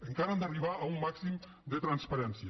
encara hem d’arribar a un màxim de transparència